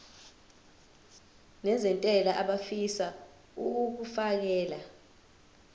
nezentela abafisa uukfakela